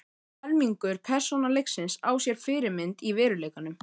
Um helmingur persóna leiksins á sér fyrirmynd í veruleikanum.